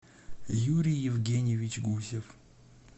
юрий евгеньевич гусев